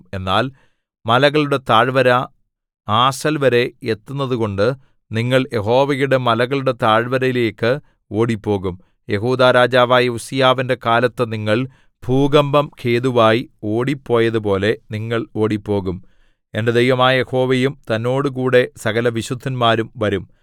എന്നാൽ മലകളുടെ താഴ്വര ആസൽവരെ എത്തുന്നതുകൊണ്ട് നിങ്ങൾ യഹോവയുടെ മലകളുടെ താഴ്വരയിലേക്ക് ഓടിപ്പോകും യെഹൂദാ രാജാവായ ഉസ്സീയാവിന്റെ കാലത്ത് നിങ്ങൾ ഭൂകമ്പം ഹേതുവായി ഓടിപ്പോയതുപോലെ നിങ്ങൾ ഓടിപ്പോകും എന്റെ ദൈവമായ യഹോവയും തന്നോടുകൂടെ സകലവിശുദ്ധന്മാരും വരും